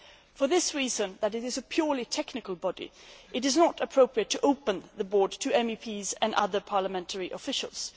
For this reason it is a purely technical body it is not appropriate to open the board to MEPs and other parliamentary officials.